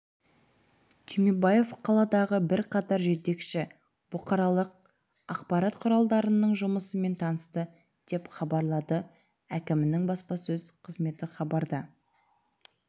түймебаев қаладағы бірқатар жетекші бұқаралық ақпарат құралдарының жұмысымен танысты деп хабарлады әкімінің баспасөз қызметі хабарда